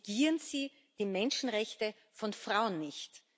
Negieren Sie die Menschenrechte von Frauen nicht!